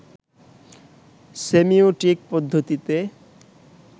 semiotic পদ্ধতিতে